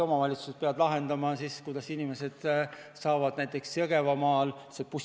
Omavalitsused peavad siis lahendama, kuidas inimesed saavad poes käia vms.